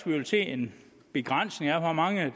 vi vil se en begrænsning af hvor mange